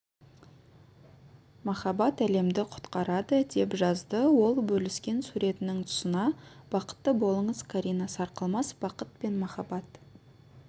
махаббат әлемді құтқарады деп жазды ол бөліскен суретінің тұсына бақытты болыңыз карина сарқылмас бақыт пен махаббат